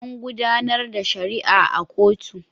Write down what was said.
An gudanar da shari'a a kotu.